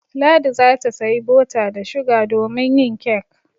Ladi za ta sayi bota da shuga domin yin kek.